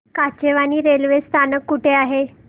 Kachewani railway स्थानक कुठे आहे